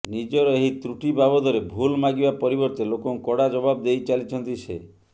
ନିଜର ଏହି ତ୍ରୁଟି ବାବଦରେ ଭୁଲ ମାଗିବା ପରିବର୍ତ୍ତେ ଲୋକଙ୍କୁ କଡ଼ା ଜବାବ ଦେଇଚାଲିଛନ୍ତି ସେ